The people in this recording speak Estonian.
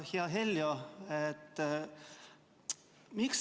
Aitäh!